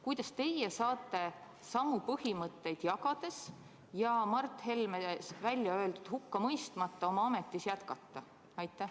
Kuidas teie saate samu põhimõtteid jagades ja Mart Helme väljaöeldut hukka mõistmata oma ametis jätkata?